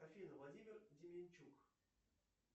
афина владимир деменчук